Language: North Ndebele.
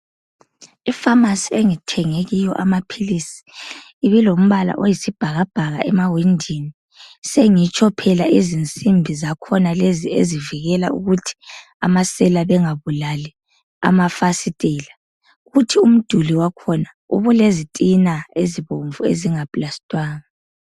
I pharmacy engithenge kiyo amaphilisi ibilombala oyisibhakabhaka emawindini, sengitsho phela izinsimbi zakhona lezi ezivikela ukuthi amasela bengabulali amafasitela. Kuthi umduli wakhona ubulezitina ezibomvu ezingaplastwanga.